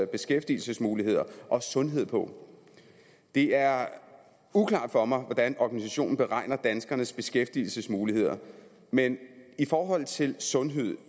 beskæftigelsesmuligheder og sundhed på det er uklart for mig hvordan organisationen beregner danskernes beskæftigelsesmuligheder men i forhold til sundhed